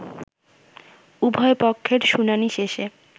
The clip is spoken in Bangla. উভয় পক্ষের শুনানি শেষে